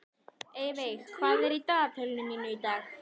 Eyveig, hvað er í dagatalinu mínu í dag?